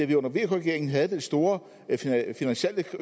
vi under vk regeringen havde den store